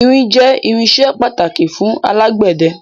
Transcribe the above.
Irin jẹ irinsẹ́ pàtàkì fún alágbẹ̀dẹ